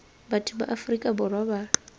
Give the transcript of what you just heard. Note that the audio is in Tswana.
batho ba aforika borwa ba